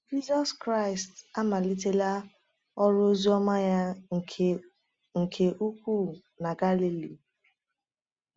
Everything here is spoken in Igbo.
Jisọs Kraịst amalitela ọrụ oziọma ya nke nke ukwuu na Galili.